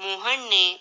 ਮੋਹਨ ਨੇ